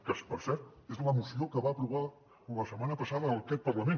que per cert és la moció que va aprovar la setmana passada aquest parlament